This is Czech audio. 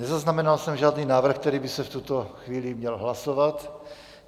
Nezaznamenal jsem žádný návrh, který by se v tuto chvíli měl hlasovat.